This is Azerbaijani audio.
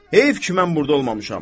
Heyf ki, mən burda olmamışam.